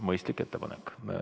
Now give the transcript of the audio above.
Mõistlik ettepanek.